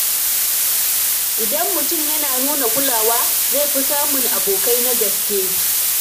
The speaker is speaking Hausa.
Idan mutum yana nuna kulawa, zai fi samun abokai na gaske.